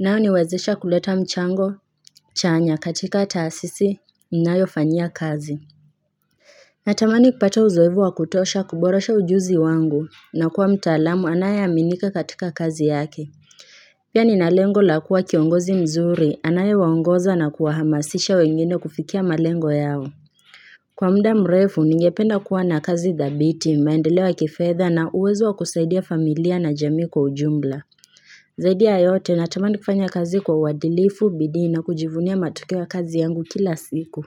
unainiwezesha kuleta mchango chanya katika taasisi ninayofanyia kazi Natamani kupata uzoevu wa kutosha kuboresha ujuzi wangu na kuwa mtaalamu anaye aminika katika kazi yake Pia ni na lengo la kuwa kiongozi mzuri anaye waongoza na kuwahamasisha wengine kufikia malengo yao Kwa muda mrefu, ningependa kuwa na kazi dhabiti, maendeleo ya kifetha na uwezo wa kusaidia familia na jamii kwa ujumbla. Zaidia yote natamani kufanya kazi kwa uadilifu, bidii na kujivunia matokeo kazi yangu kila siku.